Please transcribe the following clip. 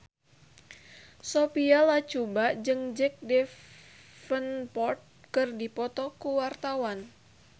Sophia Latjuba jeung Jack Davenport keur dipoto ku wartawan